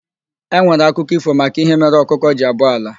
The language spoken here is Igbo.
E nwere akụkọ ífò maka ihe mere ọkụkọ ji abọ ala.